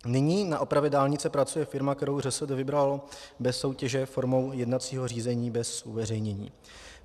Nyní na opravě dálnice pracuje firma, kterou ŘSD vybralo bez soutěže formou jednacího řízení bez uveřejnění.